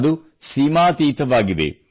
ಅದು ಸೀಮಾತೀತವಾಗಿದೆ